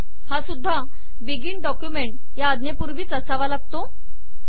हा सुद्धा begin document या आज्ञेपूर्वीच असावा लागतो